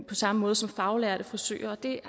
på samme måde som faglærte frisører og det